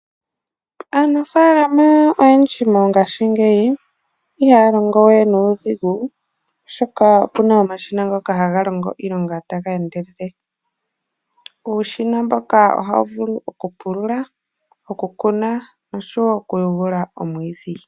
Aanafaalama oyendji mongashingeyi ihaya longo we nuudhigu molwashoka opuna omashina ngoka haga longo iilonga taga endelele. Uushina mboka ohawu vulu okupulula, okuteya nosho wo okumwa omwiidhi.